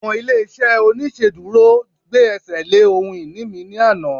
àwọn ilé iṣẹ oniṣeduro gbe ẹsẹ le ohun ini mi ni Ana